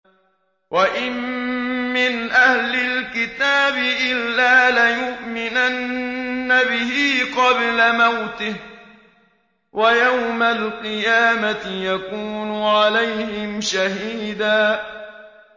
وَإِن مِّنْ أَهْلِ الْكِتَابِ إِلَّا لَيُؤْمِنَنَّ بِهِ قَبْلَ مَوْتِهِ ۖ وَيَوْمَ الْقِيَامَةِ يَكُونُ عَلَيْهِمْ شَهِيدًا